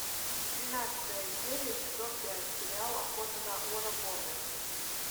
тринадцатая серия сезон пять сериал охота на унабомбера